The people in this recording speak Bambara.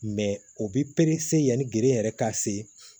o bɛ yanni geren yɛrɛ ka se